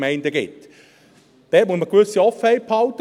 Dort muss man eine gewisse Offenheit behalten.